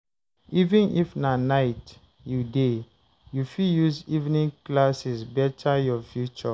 Even if na night you dey, you fit use evening classes beta your future.